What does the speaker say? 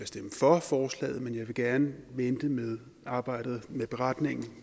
stemme for forslaget men jeg vil gerne vente med arbejdet med beretningen